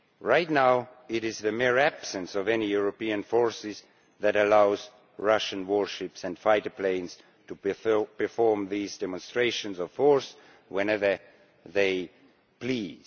Right now it is the mere absence of any European forces that allows Russian warships and fighter planes to perform these demonstrations of force whenever they please.